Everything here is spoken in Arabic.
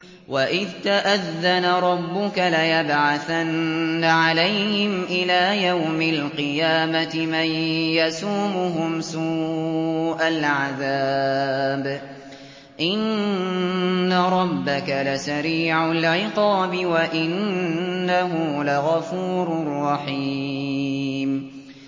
وَإِذْ تَأَذَّنَ رَبُّكَ لَيَبْعَثَنَّ عَلَيْهِمْ إِلَىٰ يَوْمِ الْقِيَامَةِ مَن يَسُومُهُمْ سُوءَ الْعَذَابِ ۗ إِنَّ رَبَّكَ لَسَرِيعُ الْعِقَابِ ۖ وَإِنَّهُ لَغَفُورٌ رَّحِيمٌ